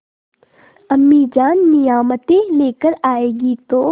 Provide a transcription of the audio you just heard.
अम्मीजान नियामतें लेकर आएँगी तो